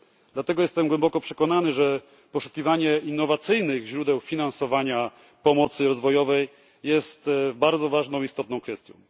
Dlatego jestem głęboko przekonany, że poszukiwanie innowacyjnych źródeł finansowania pomocy rozwojowej jest bardzo ważną i istotną kwestią.